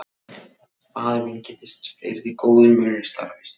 Faðir minn kynntist fleiri góðum mönnum í starfi sínu.